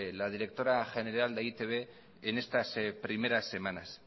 la directora general de e i te be en estas primeras semanas